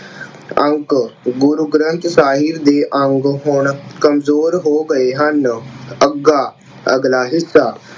ਅੰਗ, ਗੁਰੂ ਗ੍ਰੰਥ ਸਾਹਿਬ ਦੇ ਅੰਗ ਹੁਣ ਕਮਜ਼ੋਰ ਹੋ ਗਏ ਹਨ। ਅੱਗਾ, ਅਗਲਾ ਹਿੱਸਾ